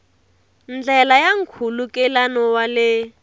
ndlela ya nkhulukelano wa le